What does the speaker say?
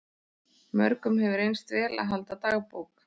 Mörgum hefur reynst vel að halda dagbók.